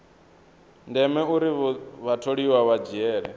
ndeme uri vhatholiwa vha dzhiele